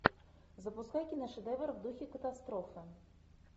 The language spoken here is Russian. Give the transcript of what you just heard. запускай киношедевр в духе катастрофы